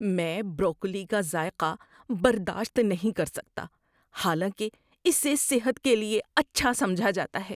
میں بروکولی کا ذائقہ برداشت نہیں کر سکتا حالانکہ اسے صحت کے لیے اچھا سمجھا جاتا ہے۔